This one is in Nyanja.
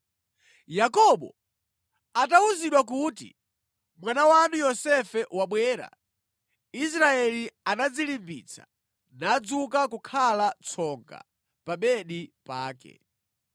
Yakobo atawuzidwa kuti, “Mwana wanu Yosefe wabwera,” Israeli anadzilimbitsa nadzuka kukhala tsonga pa bedi pake.